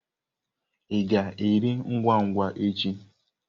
Ị ga-aga nri ngwa ngwa echi?